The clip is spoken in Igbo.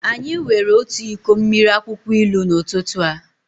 Anyị were otu iko mmiri akwụkwọ ilu n'ụtụtụ a.